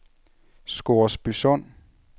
Scoresbysund